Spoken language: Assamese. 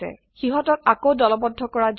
সিহতক আকৌ দলবদ্ধ কৰা যাওক